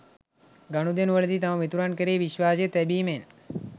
ගනුදෙනුවලදී තම මිතුරන් කෙරෙහි විශ්වාසය තැබිමෙන්